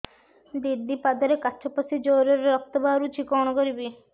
ଦିଦି ପାଦରେ କାଚ ପଶି ଜୋରରେ ରକ୍ତ ବାହାରୁଛି କଣ କରିଵି